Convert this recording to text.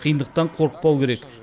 қиындықтан қорықпау керек